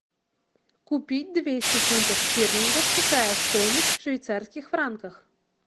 купить двести фунтов стерлингов какая стоимость в швейцарских франках